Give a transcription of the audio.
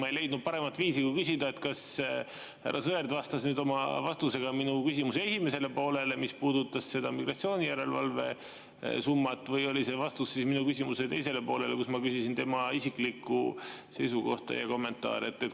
Ma ei leidnud paremat viisi kui küsida, et kas härra Sõerd vastas nüüd oma vastusega minu küsimuse esimesele poolele, mis puudutas seda migratsioonijärelevalve summat, või oli see vastus minu küsimuse teisele poolele, kus ma küsisin tema isiklikku seisukohta ja kommentaari.